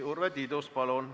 Urve Tiidus, palun!